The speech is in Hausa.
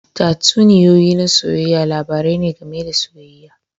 Tatsuniyoyi na soyayya labarai ne game da soyayya.